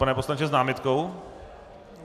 Pane poslanče, s námitkou?